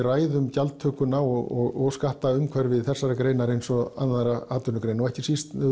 ræða gjaldtökuna og skattaumhverfi þessarar greinar eins og annarra atvinnugreina og ekki síst